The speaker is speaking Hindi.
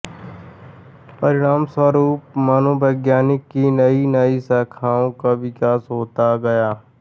परिणामस्वरूप मनोविज्ञान की नई नई शाखाओं का विकास होता गया